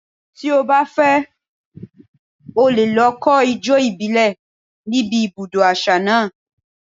Tí o bá fẹ́, o lè lọ kọ́ ijó ìbílẹ̀ ní ibi ibùdó àṣà náà.